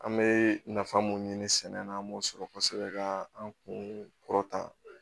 An bɛ nafa mun ɲini sɛnɛ na an b'o sɔrɔ kosɛbɛ ka an kun kɔrɔta